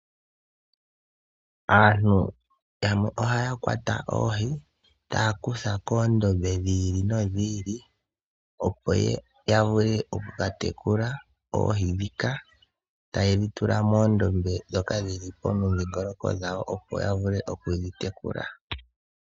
Aantu yamwe ohaya kwata oohi taya kutha komadhiya gi ili nogi ili, opo yavule oku katekula oohi ndhika tayedhi tula muudhiya mboka wuli momudhingoloko dhawo opo yavule oku dhi tekula.